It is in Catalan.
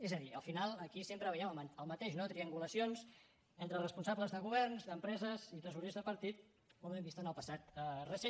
és a dir al final aquí sempre veiem el mateix no triangulacions entre responsables de governs d’empreses i tresorers de partit com hem vist en el passat recent